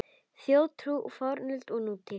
Þjóðtrú í fornöld og nútíð